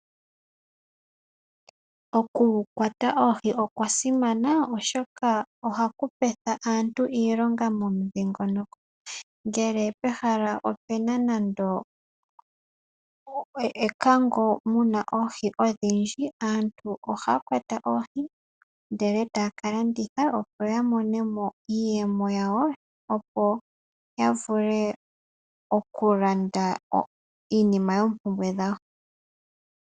Okukwata oohi okwa simana oshoka ohaku petha aantu iilonga momudhingoloko. Ngele pehala opena nando ekango muna oohi odhindji aantu ohaya kwata oohi ndele etaya kalanditha opo ya mone mo iiyemo yawo opo ya vule okulanda iinima yoompumbwe dhawo.